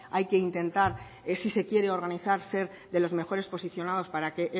hay que intentar si se quiere organizar ser de los mejores posicionados para que